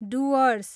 Dooars